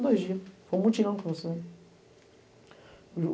dois dias. Foi um mutirão que nós fizemos.